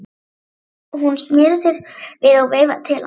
Hún sneri sér við og veifaði til hans.